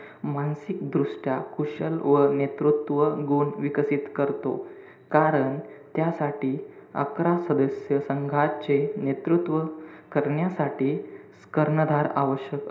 मानसिक दृष्ट्या कुशल व नेतृत्व गुण विकसित करतो. कारण, त्यासाठी अकरा सदस्य संघाचे नेतृत्व करण्यासाठी कर्णधार आवश्यक,